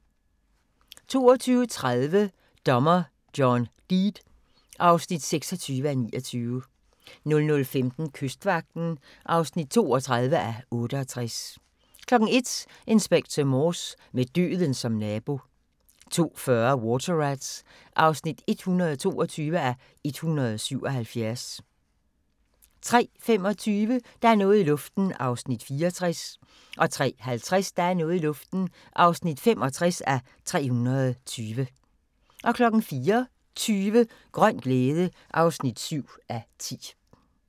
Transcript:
22:30: Dommer John Deed (26:29) 00:15: Kystvagten (32:68) 01:00: Inspector Morse: Med døden som nabo 02:40: Water Rats (122:177) 03:25: Der er noget i luften (64:320) 03:50: Der er noget i luften (65:320) 04:20: Grøn glæde (7:10)